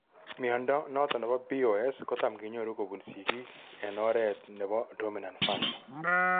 Mnondo noton nebo BOS kotam kenyoru kobun sigiik ken oret nebo dominat fashion